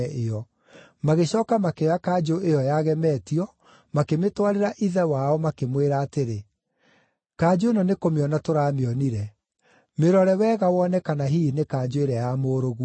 Magĩcooka makĩoya kanjũ ĩyo yagemetio, makĩmĩtwarĩra ithe wao makĩmwĩra atĩrĩ, “Kanjũ ĩno nĩ kũmĩona tũramĩonire. Mĩrore wega wone kana hihi nĩ kanjũ ĩrĩa ya mũrũguo.”